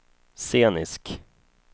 scenisk